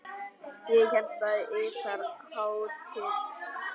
Ég hélt að yðar hátign.